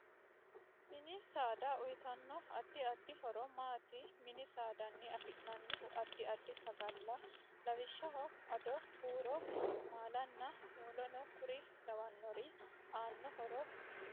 MIni saada uyiitanno addi addi horo maati mini saadani afinanihu addi addi sagala lawishaho addo buuro maalunaa wolonu kuri lawannori aano horo maati